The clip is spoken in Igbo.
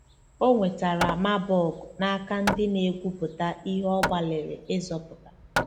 O nwetara Marburg n'aka ndị na-egwuputa ihe ọ gbalịrị ịzọpụta.